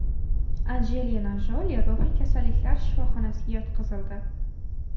Anjelina Joli ruhiy kasalliklar shifoxonasiga yotqizildi.